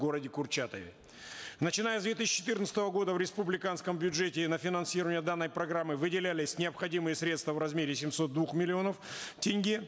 городе курчатове начиная с две тысячи четынадцатого года в республиканском бюджете на финансирование данной программы выделялись необходимые средства в размере семисот двух миллионов тенге